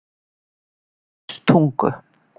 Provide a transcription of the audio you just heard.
Fljótstungu